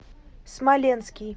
смоленский